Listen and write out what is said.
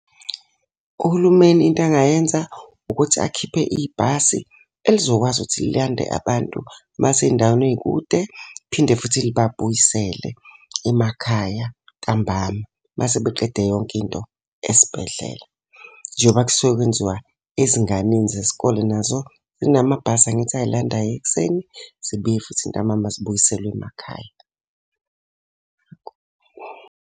Uhulumeni into angayenza, ukuthi akhiphe ibhasi elizokwazi ukuthi lilande abantu abasey'ndaweni ey'kude, phinde futhi libabuyisele emakhaya ntambama uma sebeqede yonke into esibhedlela. Njengoba kusuke kwenziwa ezinganeni zesikole nazo zinamabhasi angithi ayilandayo ekuseni, zibuye futhi ntambama zibuyiselwe emakhaya.